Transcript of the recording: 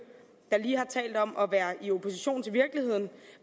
der lige har talt om at være i opposition til virkeligheden